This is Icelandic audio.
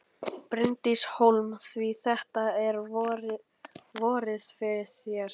Bryndís Hólm: Svo þetta er vorið fyrir þér?